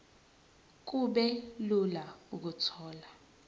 kube lula ukuthola